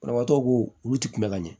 Banabaatɔ ko olu ti kunbɛ ka ɲɛ